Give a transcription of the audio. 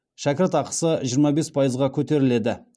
шәкіртақысы жиырма бес пайызға көтеріледі